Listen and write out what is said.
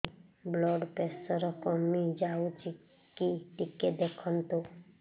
blood pressure କମି ଯାଉଛି କି ଟିକେ ଦେଖନ୍ତୁ